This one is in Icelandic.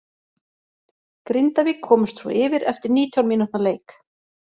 Grindavík komust svo yfir eftir nítján mínútna leik.